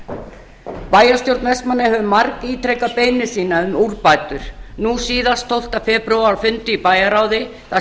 bæjarstjórn vestmannaeyja hefur margítrekað beiðni sína um úrbætur nú síðast tólfta febrúar á fundi í bæjarráði þar